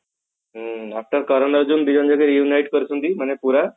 ହଁ after କରନ ଅର୍ଜୁନ ଡି ଜଣ reunite କରୁଛନ୍ତି ମାନେ ପୁରା